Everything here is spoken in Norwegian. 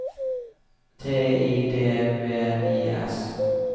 T I D V I S